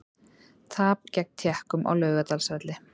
Tap gegn Tékkum á Laugardalsvelli